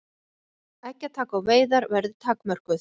Eggjataka og veiðar verði takmörkuð